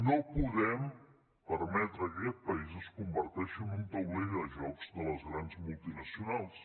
no podem permetre que aquest país es converteixi en un taulell de jocs de les grans multinacionals